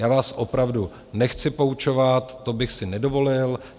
Já vás opravdu nechci poučovat, to bych si nedovolil.